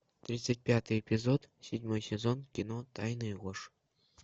тридцать пятый эпизод седьмой сезон кино тайны и ложь